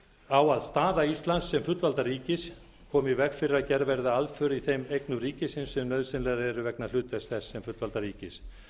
á að staða íslands sem fullvalda ríkis komi í veg fyrir að gerð verði aðför í þeim eignum ríkisins sem nauðsynlegar eru vegna hlutverks þess sem fullvalda ríkis